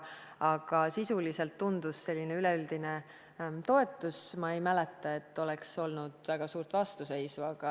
Aga sisuliselt tundus olevat üleüldine toetus, ma ei mäleta, et oleks olnud väga suurt vastuseisu.